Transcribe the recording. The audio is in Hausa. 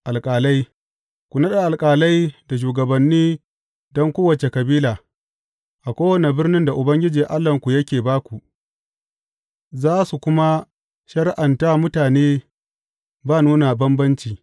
Alƙalai Ku naɗa alƙalai da shugabanni don kowace kabila, a kowane birnin da Ubangiji Allahnku yake ba ku, za su kuma shari’anta mutane ba nuna bambanci.